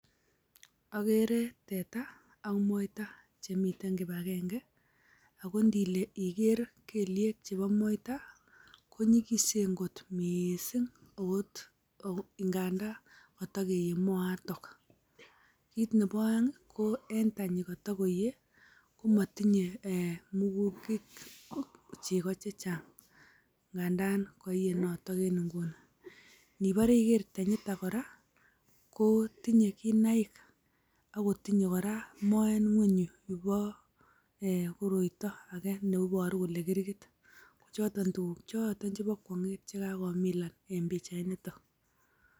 Ogere teta ak moita che miten kibagenge. Ago indile iger kelyek chebo moita ko nygisen kot mising agot ngandan kotokeiiyei moiton. Kit nebo oeng' ii, ko eng tanyi koto koiiye komotinye murungunt chego che chang ngandan koiye noton en nguni. Nibore igere tanyiton kora ko tinye kinaik ago tinye kora moet ng'weny yubo uh koroito age ne iboru kole kirgit. Ko choton tuguk choton chebo kwong'et che kagomilan en pichainito.